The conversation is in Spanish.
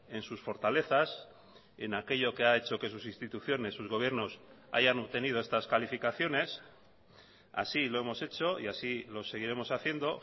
en sus fortalezas en aquello que ha hecho que sus instituciones sus gobiernos hayan obtenido estas calificaciones así lo hemos hecho y así lo seguiremos haciendo